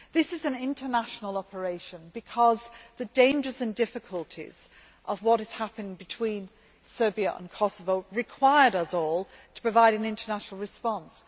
This is an international operation because the dangers and difficulties of what has happened between Serbia and Kosovo required us all to provide an international response.